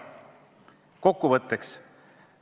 Kokkuvõtteks.